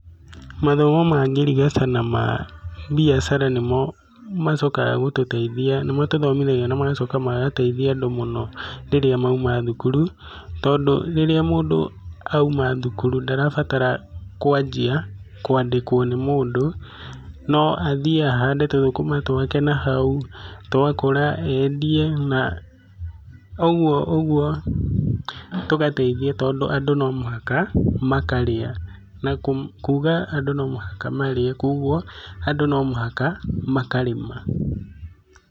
Mathomo ma ngirigaca na mabiacara nĩmo macokaga gũtũteithia, nĩmatũthomithagia namagacoka magateithia andũ mũno rĩrĩa mauma thukuru tondũ rĩrĩa mũndũ auma thukuru ndarabatara kwanjia kwandĩkwo nĩ mũndũ no athiaga ahande tũthukuma twake nahau twakũra endie naũguo ũguo tũgateithia tondũ andũ nomũhaka makarĩa na kuuga andũ nomũhaka marĩe kwoguo andũ nomũhaka makarĩma